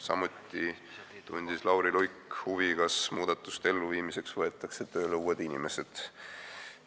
Samuti tundis Lauri Luik huvi, kas muudatuste elluviimiseks võetakse tööle uued inimesed.